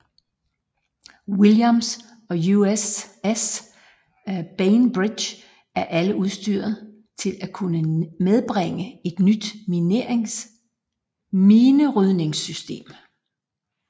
Williams og USS Bainbridge er alle udstyret til at kunne medbringe et nyt minerydningssystem